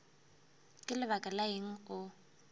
ka lebaka la eng o